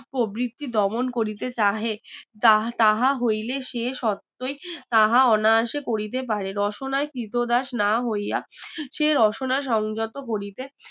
প্রবৃত্তি দমন করিতে চাহে যা তাহা হইলে সে শর্তই তাহা অনায়াসে করিতে পারে রশনায় ক্রীতদাস না হইয়া সে রশনা সংযত করিতে